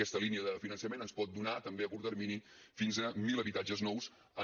aquesta línia de finançament ens pot donar també a curt termini fins a mil habitatges nous en